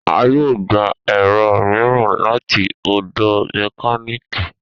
A yoo gba ẹrọ miiran lati ọdọ mekaniki